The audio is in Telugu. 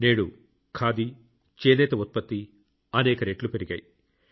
నేడు ఖాదీ చేనేత ఉత్పత్తి అనేక రెట్లు పెరిగింది